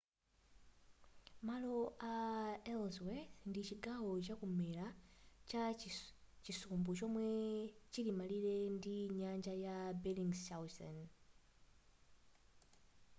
malo a ellsworth ndi chigawo chakumwera cha chisumbu chomwe chilim'malire ndi nyanja ya bellingshausen